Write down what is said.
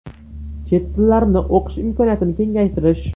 Chet tillarni o‘qish imkoniyatini kengaytirish.